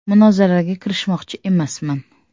Munozaraga kirishmoqchi emasman.